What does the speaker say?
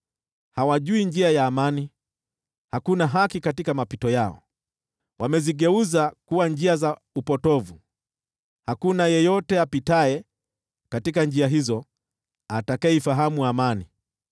Hawajui njia ya amani, hakuna haki katika mapito yao. Wameyageuza kuwa njia za upotovu, hakuna apitaye njia hizo atakayeifahamu amani.